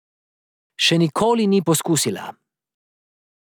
Še nikoli ni poskusila.